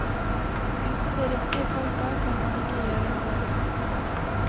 Uten de riktige folka kan man ikke gjøre noe bra.